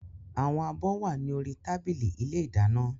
Àwọn abọ́ wà ní orí tábìlì ilé ìdáná